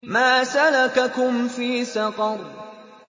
مَا سَلَكَكُمْ فِي سَقَرَ